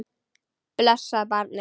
Blessað barnið.